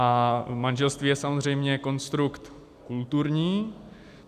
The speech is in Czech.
A manželství je samozřejmě konstrukt kulturní.